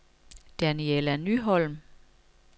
Daniella Nyholm